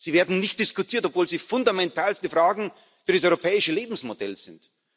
Sie werden nicht diskutiert, obwohl sie fundamentalste Fragen für das europäische Lebensmodell sind.